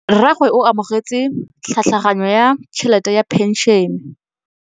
Rragwe o amogetse tlhatlhaganyô ya tšhelête ya phenšene.